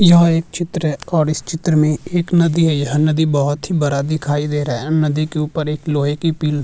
यह एक चित्र है और इस चित्र में एक नदी है यह नदी बहुत ही बड़ा दिखाई दे रहा है नदी के ऊपर एक लोहे की पि --